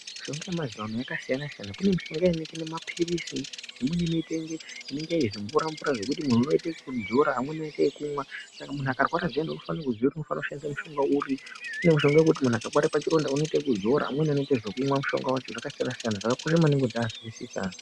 Mushonga yemazuva ano yakasiyana siyana pane mushonga yakaita kunge mapirisi , imweni yakaita kunge zvimvura mvura zvekuti muntu inoite kudzora umweni oita kumwa .Saka muntu akarwara zviyane unofane kuziva kuti oshandisa mushonga uri ,kune yekuti pari pachironda unoita kuzora amweni oita kumwa, zvakakosha maningi kuti uziye wozwisisa .